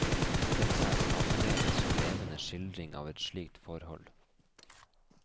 Dette er en annerledes og levende skildring av et slikt forhold.